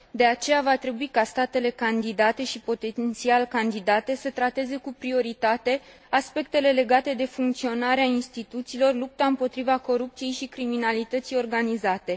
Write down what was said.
De aceea, va trebui ca statele candidate și potențial candidate să trateze cu prioritate aspectele legate de funcționarea instituțiilor și de lupta împotriva corupției și criminalității organizate.